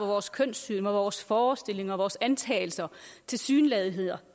vores kønssyn og vores forestillinger og vores antagelser og tilsyneladenheder